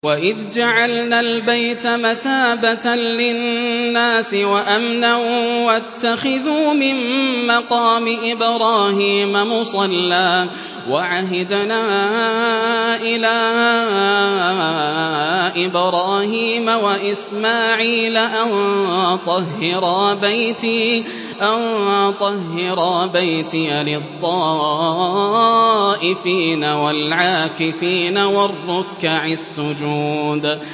وَإِذْ جَعَلْنَا الْبَيْتَ مَثَابَةً لِّلنَّاسِ وَأَمْنًا وَاتَّخِذُوا مِن مَّقَامِ إِبْرَاهِيمَ مُصَلًّى ۖ وَعَهِدْنَا إِلَىٰ إِبْرَاهِيمَ وَإِسْمَاعِيلَ أَن طَهِّرَا بَيْتِيَ لِلطَّائِفِينَ وَالْعَاكِفِينَ وَالرُّكَّعِ السُّجُودِ